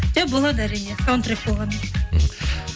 жоқ болады әрине саундтрек болған мхм